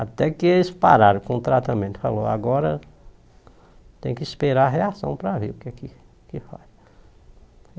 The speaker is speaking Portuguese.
Até que eles pararam com o tratamento, falou, agora tem que esperar a reação para ver o que é que que faz.